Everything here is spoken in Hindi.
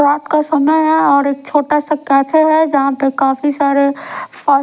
रात का समय और एक छोटा सा काथा है जहां पर काफी सारे साउ--